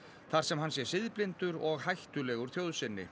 þar sem hann sé siðblindur og hættulegur þjóð sinni